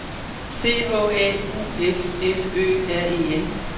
C H A U F F Ø R E N